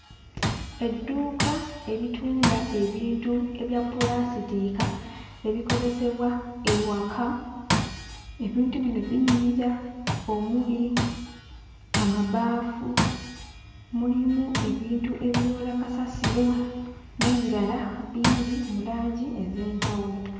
Edduuka eritunda ebintu ebya pulaasituka ebikozesebwa ewaka, ebintu bino binyirira, omuli amabaafu, mulimu ebintu ebiyoola kasasiro, n'ebirala bingi mu langi ez'enjawulo.